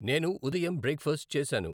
నేను ఉదయం బ్రేక్ఫాస్ట్ చేసాను.